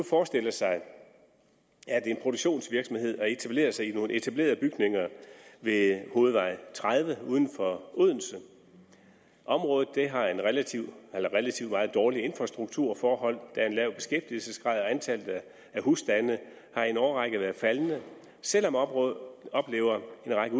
forestille sig at en produktionsvirksomhed etablerer sig i nogle etablerede bygninger ved hovedvej tredive uden for odense området har meget dårlige infrastrukturforhold der er en lav beskæftigelsesgrad og antallet af husstande har i en årrække været faldende selv om området oplever en række